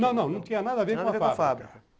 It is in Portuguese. Não, não, não tinha nada a ver com a fábrica.